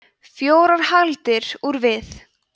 fjórar hagldir úr við